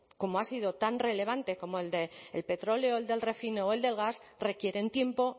como ha sido tan relevante como el petróleo el del refino o el del gas requieren tiempo